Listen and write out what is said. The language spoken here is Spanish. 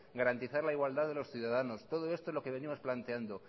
garantizar la igualdad de los ciudadanos todo esto es lo que venimos planteando